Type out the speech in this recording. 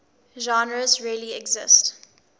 genres really exist